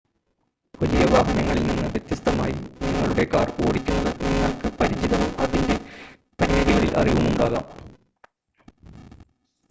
വലിയ വാഹനങ്ങളിൽ നിന്ന് വ്യത്യസ്തമായി നിങ്ങളുടെ കാർ ഓടിക്കുന്നത് നിങ്ങൾക്ക് പരിചിതവും അതിൻ്റെ പരിമിതികളിൽ അറിവും ഉണ്ടാകാം